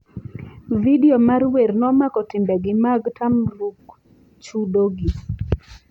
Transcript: Video mar wer nomako timbegi mag tamruk chudogi.